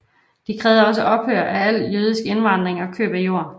De krævede også ophør af al jødisk indvandring og køb af jord